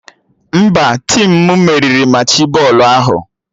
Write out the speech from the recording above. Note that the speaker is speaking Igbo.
Mba, tim m meriri Machị bọọlụ ahụ